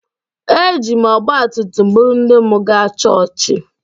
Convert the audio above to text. Eji m ọgbatumtum buru nne m gaa chọọchị